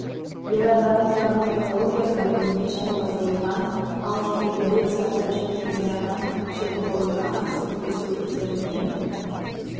ер адам травматология бөліміне жатқызылған ал кейінірек зардап шеккен ер адам жемқорлыққа қарсы күрес өкілдеріне